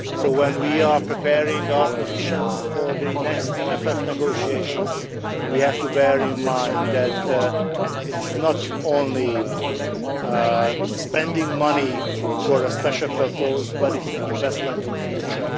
When we are preparing our positions for the next MFF negotiations we have to bear in mind that it is not only spending money for a special purpose, but it is an investment in the future.